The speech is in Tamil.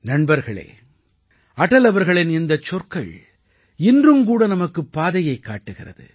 நண்பர்களே அடல் அவர்களின் இந்தச் சொற்கள் இன்றும் கூட நமக்குப் பாதையைக் காட்டுகிறது